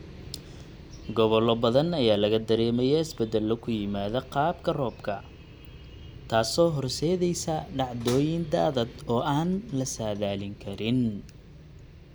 Gobollo badan ayaa laga dareemaya isbeddelo ku yimaadda qaabka roobka, taasoo horseedaysa dhacdooyin daadad oo aan la saadaalin karin.